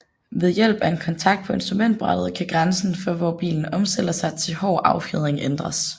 Ved hjælp af en kontakt på instrumentbrættet kan grænsen for hvor bilen omstiller sig til hård affjedring ændres